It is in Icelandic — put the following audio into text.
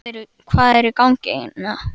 Hvað er í gangi hérna?